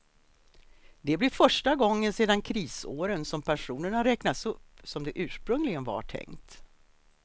Det blir första gången sedan krisåren som pensionerna räknas upp som det ursprungligen var tänkt.